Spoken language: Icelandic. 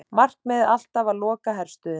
Markmiðið alltaf að loka herstöðinni